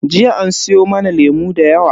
Jiya an siyo mana lemu da yawa.